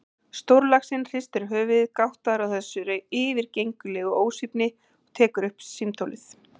Stórlaxinn hristir höfuðið, gáttaður á þessari yfirgengilegu ósvífni, tekur upp símtólið.